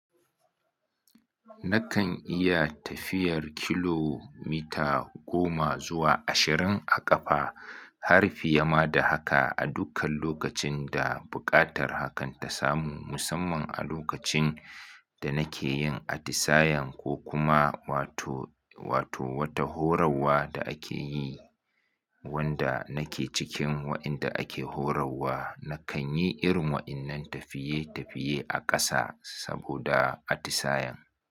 Nakan iya tafiyar kilomita goma zuwa ashirin a ƙafa, har fiye ma da haka a dukkan lokacin da buƙatar hakan ta samu, musamman a lokacin da nake yin atisayan ko kuma wato, wato wata horarwa da ake yi wanda nake cikin waɗanda ake horarwa, nakan yi irin waɗannan tafiye-tafiye a ƙasa saboda atisayan.